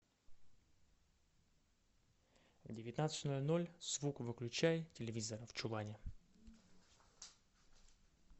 в девятнадцать ноль ноль звук выключай телевизора в чулане